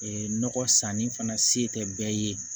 nɔgɔ sanni fana se tɛ bɛɛ ye